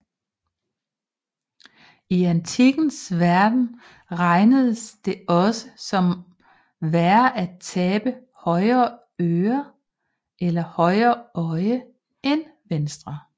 I antikkens verden regnedes det også som værre at tabe højre øre eller højre øje end venstre